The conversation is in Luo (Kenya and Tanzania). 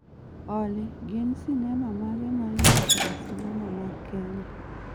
Olly gin sinema mage ma inyiso e sinema mag Kenya